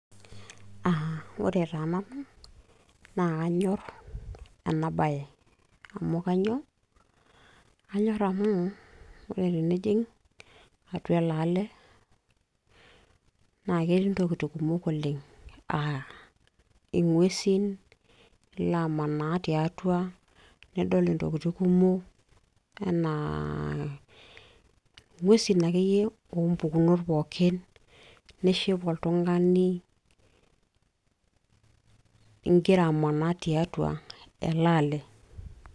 Ore taa nanu naa kanyorr ena baye, amu kainyoo, kanyorr amu ore tenijing' atua ele ale naa ketii ntokitin kumok oleng' aa ing'uesi, ilo amanaa tiatua nidol intokitin kumok anaa ing'uesi akeyie oompukunot pooki nishipa oltung'ani igira amanaa tiatua ele ale.